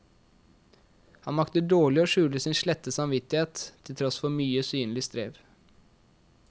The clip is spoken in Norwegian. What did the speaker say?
Han makter dårlig å skjule sin slette samvittighet, til tross for mye synlig strev.